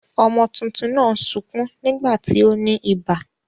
Ọmọ tuntun náà ń sukún nígbà tí ó ní ibà.